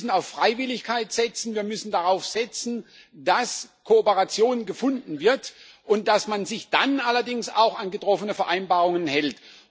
Wir müssen auf Freiwilligkeit setzen, wir müssen darauf setzen, dass Kooperation gefunden wird und dass man sich dann allerdings auch an getroffene Vereinbarungen hält.